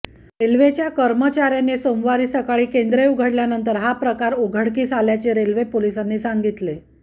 रेल्वेच्या कर्मचार्याने सोमवारी सकाळी केंद्र उघडल्यानंतर हा प्रकार उघडकीस आल्याचे रेल्वे पोलिसांनी सांगितले